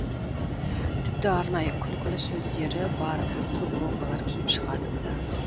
тіпті арнайы күлкілі сөздері бар футболкалар киіп шығатын ды